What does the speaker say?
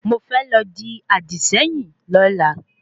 Mo fẹ́ lọ dì àdìséyìn lọ́la